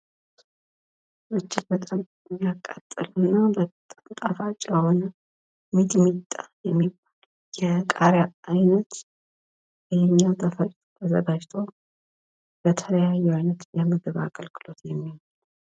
እጅግ በጣም የሚያቃጥል እና በጣም ጣፋጭ የሆነ ሚጥሚጣ የሚባል የቃሪያ አይነት ተዘጋጅቶ በተለያየ አይነት የምግብ አገግሎት የሚውል ነው::